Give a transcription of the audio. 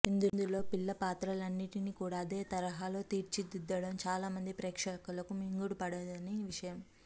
ఇందులో పిల్ల పాత్రలన్నింటినీ కూడా అదే తరహాలో తీర్చిదిద్దడం చాలామంది ప్రేక్షకులకు మింగుడు పడని విషయం